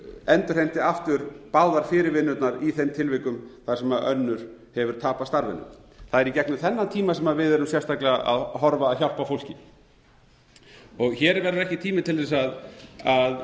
endurheimti aftur báðar fyrirvinnurnar í þeim tilvikum þar sem önnur hefur tapað starfinu það er í gegnum þennan tíma sem við erum sérstaklega að horfa að hjálpa fólki hér er ekki tími til þess að